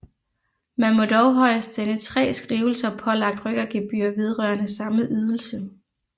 Man må dog højst sende 3 skrivelser pålagt rykkergebyr vedrørende samme ydelse